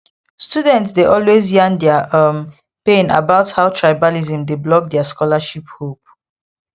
students dey always yarn their um pain about how tribalism dey block their scholarship hope